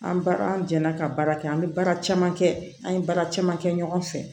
An ba an jɛnna ka baara kɛ an bɛ baara caman kɛ an ye baara caman kɛ ɲɔgɔn fɛ